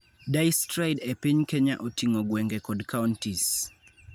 Distride e piny Kenya oting'o gwenge kod counties.